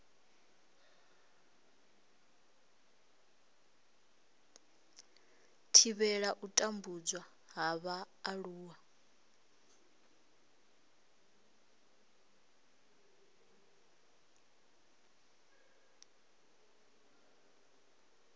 thivhela u tambudzwa ha vhaaluwa